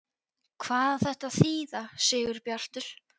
HVAÐ Á ÞETTA AÐ ÞÝÐA, SIGURBJARTUR?